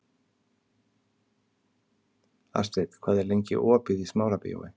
Astrid, hvað er lengi opið í Smárabíói?